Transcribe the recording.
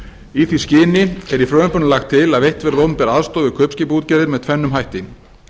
í því skyni er í frumvarpinu lagt til að veitt verði opinber aðstoð við kaupskipaútgerðir með tvennum hætti